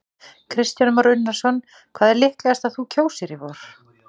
Kristján Már Unnarsson: Hvað er líklegast að þú kjósir í vor?